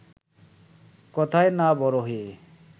কথায় না বড় হয়ে